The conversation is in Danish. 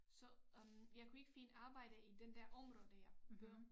Så øh jeg kunne ikke finde arbejde i den der område jeg på